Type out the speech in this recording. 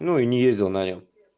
ну и не ездил на нём